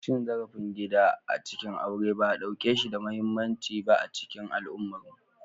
Cin zarafin gida a cikin aure ba a ɗauke shi da muhimmanci ba a cikin al'ummarmu.